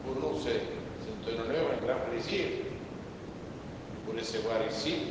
Pour nous, c'est un honneur, un grand plaisir de vous recevoir ici